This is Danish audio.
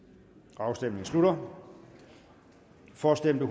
afstemningen slutter for stemte